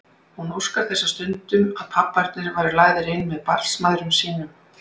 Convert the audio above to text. Hún óskar þess stundum að pabbarnir væru lagðir inn með barnsmæðrum sínum.